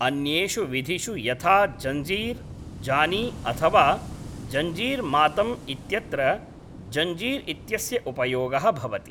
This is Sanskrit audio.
अन्येषु विधिषु यथा ज़ञ्जीर् ज़ानी अथवा ज़ञ्जीर् मातम् इत्यत्र ज़ञ्जीर् इत्यस्य उपयोगः भवति।